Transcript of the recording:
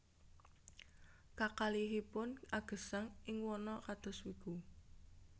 Kakalihipun agesang ing wana kados wiku